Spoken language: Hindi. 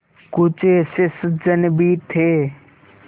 कुछ ऐसे सज्जन भी थे